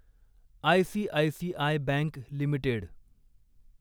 ICICI bank limited